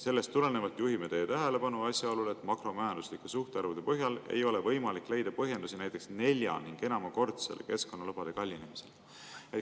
Sellest tulenevalt juhime teie tähelepanu asjaolule, et makromajanduslike suhtarvude põhjal ei ole võimalik leida põhjendusi näiteks nelja- ja enamakordsele keskkonnalubade kallinemisele.